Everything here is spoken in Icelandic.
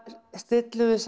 stillum við